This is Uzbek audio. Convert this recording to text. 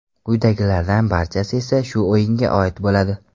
Quyidagilarning barchasi esa shu o‘yinga oid bo‘ladi.